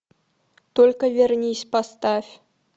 только вернись поставь